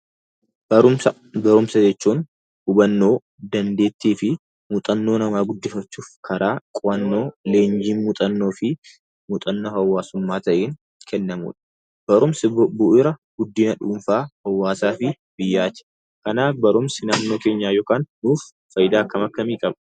Barumsa: Barumsa jechuun hunannoo, dandeettii fi muuxannoo guddifachuuf karaa qo'annoo, leenjii muuxannoo di muuxannoo hawwaasummaa ta'een kennamudha. Barumsi bu'uura guddina dhuunfaa, hawwaasa Di biyyaati. Kanaaf barumsi naannoo keenyaaf yookiin nuuf faayidaa akkam akkamii qaba?